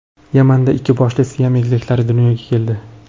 Yamanda ikki boshli Siam egizaklari dunyoga keldi.